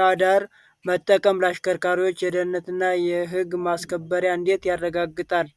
ራዳር መጠቀም ለአሽከርካሪዎች የደህንነትን እና የሕግ ማስከበርን እንዴት ያረጋግጣል?